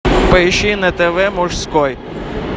поищи на тв мужской